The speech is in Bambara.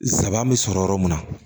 Zaban bɛ sɔrɔ yɔrɔ mun na